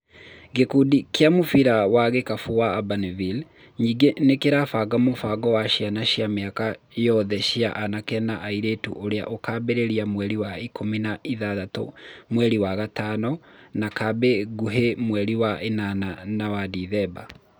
Gĩkundi kĩa mũbira wa gĩkabũ wa Abanivire nyingĩ nĩ kĩrabanga mũbango wa ciana cia miaka yothe cia anake na airĩtu ũrĩa ũkambĩrĩria mweri ikũmi na ithathatũ mweri wa gatano na Kambĩ nguhĩ mweri wa ĩnana na wa Dithemba.